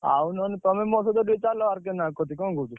ଆଉ ନହେଲେ ତମେ ମୋ ସହିତ ଟିକେ ଚାଲ ନହେଲେ ଆର୍‌କେ ନାୟକ କତିକି କଣ କହୁଛ?